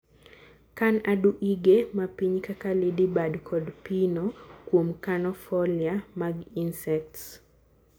kan aduige mapiny kaka lady bird kod pino kuom kano foliar mag insects.